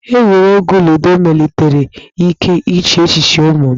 Egwuregwu ludo melitere ike iche echiche ụmụ m.